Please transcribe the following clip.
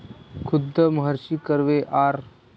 खुद्द महर्षी कर्वे, आर.